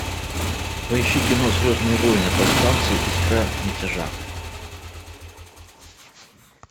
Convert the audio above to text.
поищи кино звездные войны повстанцы искра мятежа